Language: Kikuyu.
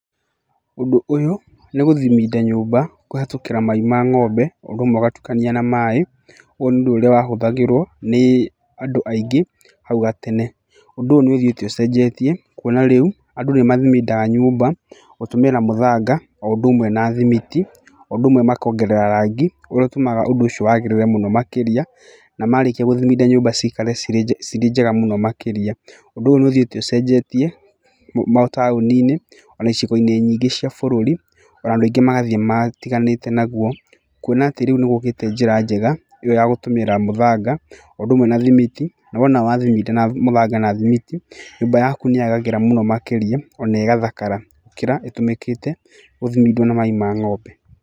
Ũndũ ũyũ nĩ gũthiminda nyũmba kũhetũkira mai ma ng'ombe, ũndũ ũmwe ũgatukania na maĩ, ũyũ nĩ ũndũ ũria wahũthagũrwo nĩ andũ aingĩ hau gatene. Ũndũ ũyũ nĩ ũthiĩte ũcenjetie, kuona rĩu andũ nĩ mathimindaga nyũmba, gũtũmĩra mũthanga o ũndũ ũmwe na thimiti, o ũndũ umwe makongerera rangi ũrĩa ũtũmaga ũndũ ũcio wagĩrĩre mũno makĩria. Na marĩkia gũthiminda nyũmba ciikare cirĩ njega mũno makĩria. Ũndũ ũyũ nĩ ũthiĩte ũcenjetie, mataũni-inĩ ona icigo nyingĩ cia bũrũri ona andũ aingĩ magathiĩ matiganĩte naguo, kuona atĩ rĩu nĩgũkĩte njĩra njega, ĩyo ya kũhũthĩra mũthanga, o ũndũ ũmwe na thimiti, na wona wathiminda nyũmba yaku ũkĩhũthĩra mũthanga na athimiti, nyũmba yaku nĩyagagĩra mũno makĩria, ona ĩgathakara, gũkĩra ĩtũmĩkĩte gũthimindwo na mai ma ng'ombe.